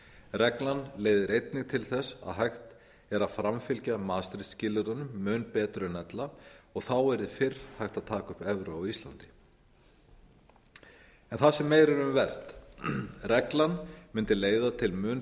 reglan leiðir einnig til þess að hægt er að framfylgja maastricht skilyrðunum mun betur en ella og þá yrði fyrr hægt að taka upp evru á íslandi en það sem meira er um vert reglan mundi leiða til mun